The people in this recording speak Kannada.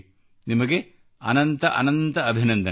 ನಿಮಗೆ ಅನಂತ ಅನಂತ ಅಭಿನಂದನೆಗಳು